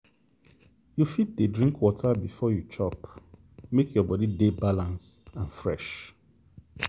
you fit dey drink water before you chop make your body dey balance and fresh.